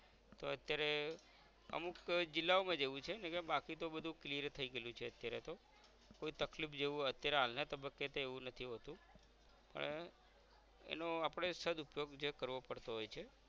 તો અત્યારે અમુક જિલ્લાઓ માજ એવું છે બાકી તો બધુ clear થઈ ગઇલું છે અત્યારે તો કોઈ તકલીફ જેવુ અત્યારે હાલના તબ્બકે તે એવું નથી હોતું પણ એનો આપણે સદ ઉપયોગ જે કરવો પડતો હોય છે